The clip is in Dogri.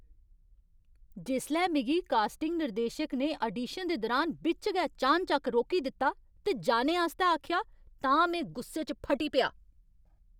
जिसलै मिगी कास्टिंग निर्देशक ने आडीशन दे दुरान बिच्च गै चानचक्क रोकी दित्ता ते जाने आस्तै आखेआ तां में गुस्से च फटी पेआ।